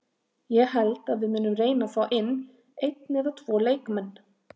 Ég held að við munum reyna fá inn einn eða tvo leikmenn.